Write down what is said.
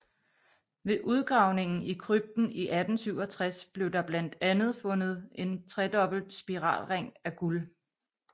Ved udgravning i krypten i 1867 blev der bland andet fundet en tredobbelt spiralring af guld